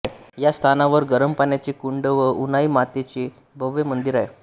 या स्थानावर गरम पाण्याचे कुंड व उनाई मातेचे भव्य मंदिर आहे